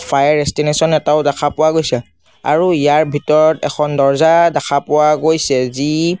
Fire station এটাও দেখা পোৱা গৈছে। আৰু ইয়াৰ ভিতৰত এখন দৰ্জা দেখা পোৱা গৈছে যি--